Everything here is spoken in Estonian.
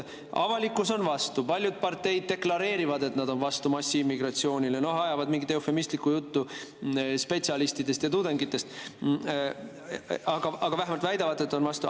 Avalikkus on vastu ja paljud parteid deklareerivad, et nad on vastu massiimmigratsioonile, ajavad mingit eufemistlikku juttu spetsialistidest ja tudengitest, aga vähemalt väidavad, et on vastu.